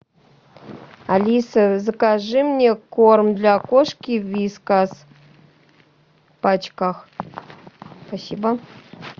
алиса закажи мне корм для кошки вискас в пачках спасибо